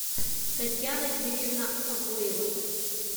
татьяна юрьевна агуева